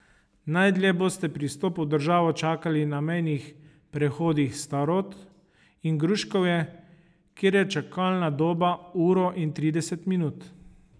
Najdlje boste pri vstopu v državo čakali na mejnih prehodih Starod in Gruškovje, kjer je čakalna doba uro in trideset minut.